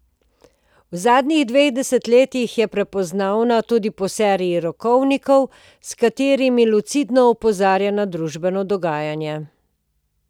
V zadnjih dveh desetletjih je prepoznavna tudi po seriji rokovnikov, s katerimi lucidno opozarja na družbeno dogajanje.